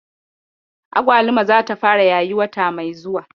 Agwaluma zata fara yayi wata mai zuwa.